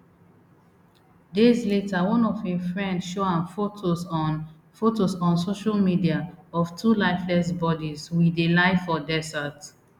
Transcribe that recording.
days later one of im friend show am photos on photos on social media of two lifeless bodies we dey lie for desert